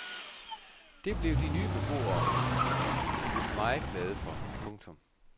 Det blev de nye beboere blev meget glade for. punktum